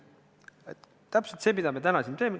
See on täpselt see, mida me täna siin teeme.